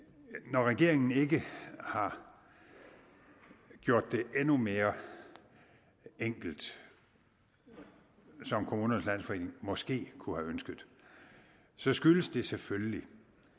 når regeringen ikke har gjort det endnu mere enkelt som kommunernes landsforening måske kunne have ønsket så skyldes det selvfølgelig